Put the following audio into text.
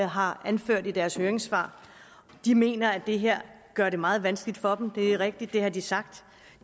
har anført i deres høringssvar de mener at det her gør det meget vanskeligt for dem det er rigtigt at det har de sagt